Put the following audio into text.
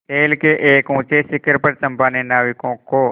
शैल के एक ऊँचे शिखर पर चंपा के नाविकों को